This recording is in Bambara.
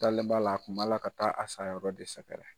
Dalen b'a la a tun b'a la ka taa a sayayɔrɔ de sɛgɛrɛ.